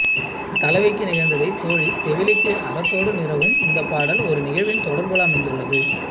தலைவிக்கு நிகழந்ததைத் தோழி செவிலிக்கு அறத்தொடு நிறகும் இந்தப் பாடல் ஒரு நிகழ்வின் தொடர் போல அமைந்துள்ளது